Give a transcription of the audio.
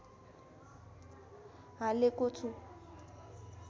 हालेको छु